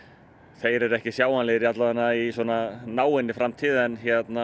þeir eru ekki sjáanlegir allavega í náinni framtíð en